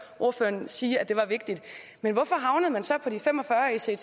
ordføreren sige at det var vigtigt men hvorfor havnede man så på de fem og fyrre ects i